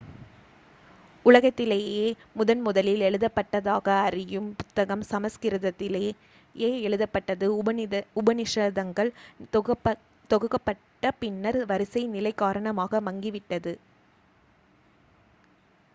உலகத்திலேயே முதன் முதலில் எழுதப்பட்டதாக அறியும் புத்தகம் சமஸ்கிருதத்திலேயே எழுதப்பட்டது உபநிஷதங்கள் தொகுக்கப்பட்ட பின்னர் வரிசை நிலை காரணமாக மங்கி விட்டது